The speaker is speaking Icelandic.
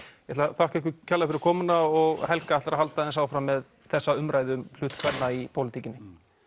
ég ætla að þakka ykkur kærlega fyrir komuna og Helga ætlar að halda aðeins áfram með þessa umræðu um hlut kvenna í pólitíkinni